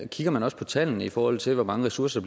kigger man også på tallene i forhold til hvor mange ressourcer